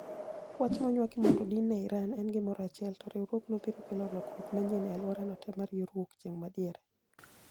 Wach monywaki mondo odin ne Iran, en gimoro achiel, to, riwruogno biro kelo lokruok manyien e aluora no teemar yor wuok chieng' madiere?